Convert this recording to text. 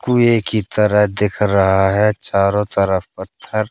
कुए की तरह दिख रहा है चारों तरफ पत्थर--